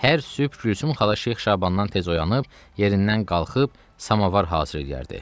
Hər sübh Gülsüm xala Şeyx Şabandan tez oyanıb, yerindən qalxıb, samovar hazırlayardı.